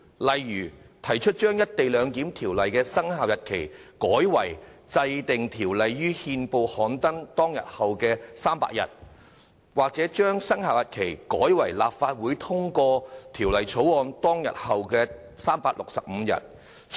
例如，提出把經制定的條例的生效日期改為該條例於憲報刊登當日後的第300日，或把生效日期改為立法會通過《條例草案》當天後的365天。